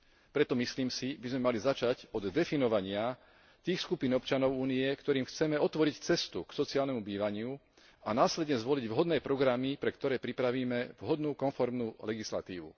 Preto si myslím, že by sme mali začať od definovania tých skupín občanov Únie, ktorým chceme otvoriť cestu k sociálnemu bývaniu, a následne zvoliť vhodné programy, pre ktoré pripravíme vhodnú konformnú legislatívu.